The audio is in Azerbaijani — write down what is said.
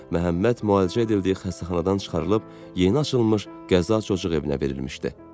Məhəmməd müalicə edildiyi xəstəxanadan çıxarılıb yeni açılmış qəza cocuq evinə verilmişdi.